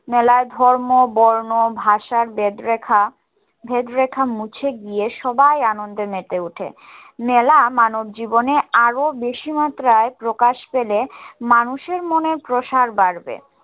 মেলায় ধর্ম বর্ণ ভাষার ভেদরেখা ভেদরেখা মুছে গিয়ে সবাই আনন্দে মেতে উঠে মেলা মানব জীবনে আরো বেশি প্রকাশ পেলে মানুষের মনের প্রসার বাড়বে